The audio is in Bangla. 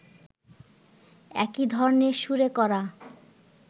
একই ধরনের সুরে করা